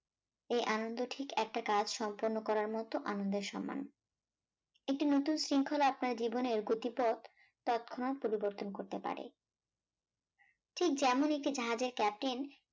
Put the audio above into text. এই আনন্দ ঠিক একটা কাজ সম্পন্ন করার মত আনন্দের সমান একটি নুতুন শৃঙ্খলা আপনার জীবেনর গতিপথ তত্ক্ষণাত পরিবর্তন করতে পারে, ঠিক যেমন একটি জাহাজের captain